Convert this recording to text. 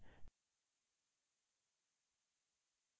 फिर enter की दबाएँ